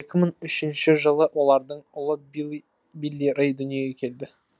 екі мың үшінші жылы олардың ұлы билли рэй дүниеге келді